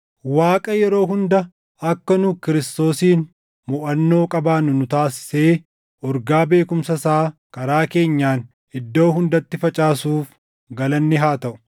Waaqa yeroo hunda akka nu Kiristoosiin moʼannoo qabaannu nu taasisee urgaa beekumsa isaa karaa keenyaan iddoo hundatti facaasuuf galanni haa taʼu.